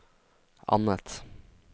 annet